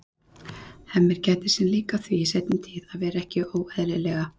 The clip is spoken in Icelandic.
Hemmi gætir sín líka á því í seinni tíð að vera ekki óeðlilega